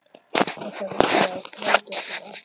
Ætlarðu virkilega að flækjast um Afríku?